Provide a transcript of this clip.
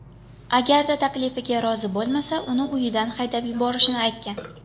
Agarda taklifiga rozi bo‘lmasa uni uyidan haydab yuborishini aytgan.